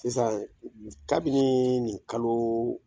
Sisan, kabini nin kalo